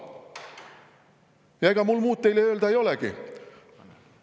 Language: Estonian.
Ega mul muud teile öelda ei olegi.